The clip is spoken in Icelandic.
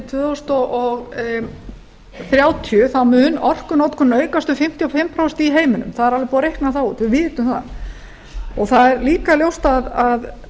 tvö þúsund þrjátíu mun orkunotkun aukast um fimmtíu og fimm prósent í heiminum það er alveg búið að reikna það út við vitum það það er líka ljóst að